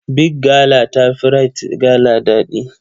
Big gala ta fi Rite gala ɗadi.